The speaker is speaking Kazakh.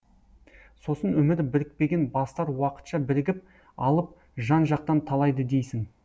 сосын өмірі бірікпеген бастар уақытша бірігіп алып жан жақтан талайды дейсің